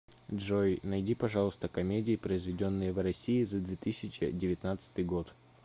джой найди пожалуйста комедии произведенные в россии за две тысячи девятнадцатый год